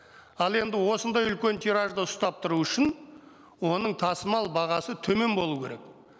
ал енді осындай үлкен тиражды ұстап тұру үшін оның тасымал бағасы төмен болу керек